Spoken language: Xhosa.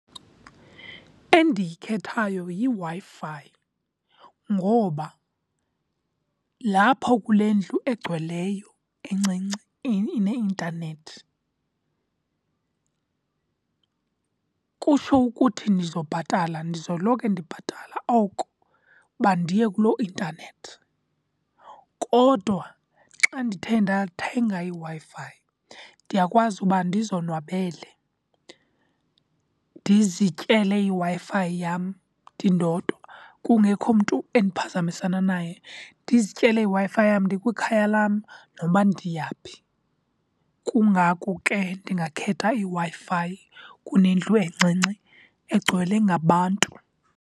Endiyikhethayo yiWi-Fi ngoba lapho kule ndlu egcweleyo encinci ineintanethi kutsho ukuthi ndizobhatala. Ndizoloko ndibhatala oko uba ndiye kuloo intanethi. Kodwa xa ndithe ndathenga iWi-Fi ndiyakwazi uba ndizonwabele, ndizityele iWi-Fi yam ndindodwa kungekho mntu endiphazamisana naye. Ndizityele iWi-Fi yam ndikwikhaya lam noba ndiyaphi. Kungako ke ndingakhetha iWi-Fi kunendlu encinci egcwele ngabantu.